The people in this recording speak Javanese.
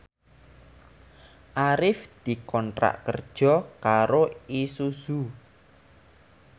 Arif dikontrak kerja karo Isuzu